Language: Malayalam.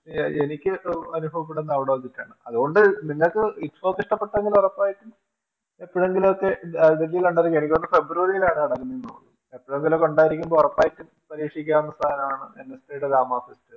ആ എനിക്ക് അനുഭവപ്പെടുന്നത് അവിടെ വെച്ചിട്ടാണ് അതുകൊണ്ട് നിങ്ങൾക്ക് ITFOK ഇഷ്ടപ്പെട്ടെങ്കിൽ ഒറപ്പായിട്ടും പറ്റുമെങ്കിലൊക്കെ February ലാണ് നടക്കുന്നതെന്ന് തോന്നുന്നു എപ്പഴെങ്കിലൊക്കെ ഉണ്ടായിരികുമ്പോ ഉറപ്പായിട്ടും പരീക്ഷിക്കാവുന്ന ഒരു സാധനവാണ് NSD